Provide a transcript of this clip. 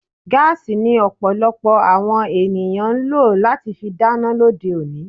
Gaasi ni Ọ̀pọ̀lọpọ̀ àwọn ènìyàn ń lọ láti fi dáná lóde òní